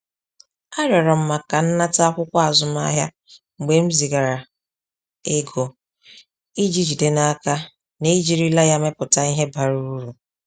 Arịọrọ m maka nnata akwụkwọ azụmahịa mgbe m zigara ego iji jide n’aka na ejirila ya mepụta ihe bara uru.